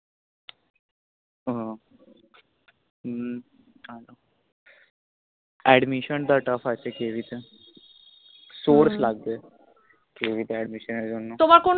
হম admission tough আছে কেবি তে source লাগবে কেবি তে admission এর জন্য তোমার কোন